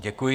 Děkuji.